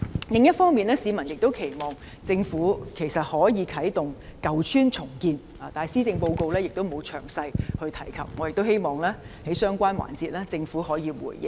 另一方面，市民亦期望政府可以啟動舊邨重建，但施政報告並無詳細提及，我亦希望在相關環節，政府可以回應。